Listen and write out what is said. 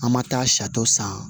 An ma taa sari san